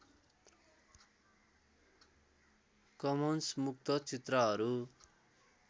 Cummins मुक्त चित्रहरू